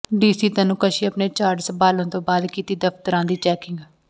DC Tanu Kashyap ਨੇ charge ਸੰਭਾਲਣ ਤੋਂ ਬਾਅਦ ਕੀਤੀ ਦਫਤਰਾਂ ਦੀ ਚੈਕਿੰਗ